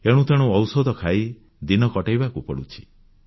ଏଣୁ ତେଣୁ ଔଷଧ ଖାଇ ଦିନ କଟେଇବାକୁ ପଡ଼ୁଛି